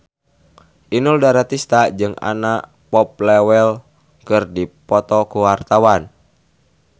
Inul Daratista jeung Anna Popplewell keur dipoto ku wartawan